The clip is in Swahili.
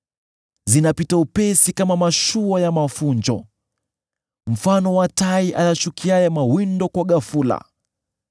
Zinapita upesi kama mashua ya mafunjo, mfano wa tai ayashukiaye mawindo kwa ghafula.